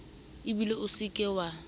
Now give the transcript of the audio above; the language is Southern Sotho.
ebile o se ke wa